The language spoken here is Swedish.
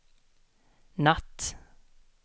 natt